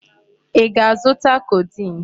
Ị ga-azụta codeine?